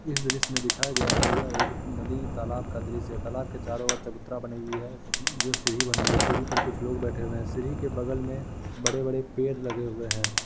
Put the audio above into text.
इस दृश्य में दिखाया गया है यह एक नदी तालाब का दृश्य है तालाब के चारो और चबूतरा बनी हुई है जो सीढ़ी बनी हुई है सीढ़ी पर कुछ लोग बैठे हुए है सीढ़ी के बगल में बड़े-बड़े पेड़ लगे हुए हैं।